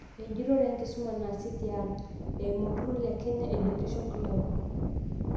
Enjurore e nkisuma naasi tiang' eimu olturrur le Kenya Education Cloud